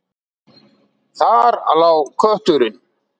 Þar lá kötturinn.